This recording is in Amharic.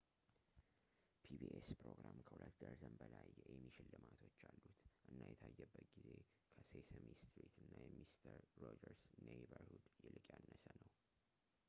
pbs ፕሮግራም ከሁለት ደርዘን በላይ የኤሚ ሽልማቶች አሉት እና የታየበት ጊዜ ከሴሰሚ ስትሪት እና የሚስተር ሮጀርስ ኔይበርሁድ ይልቅ ያነሰ ነው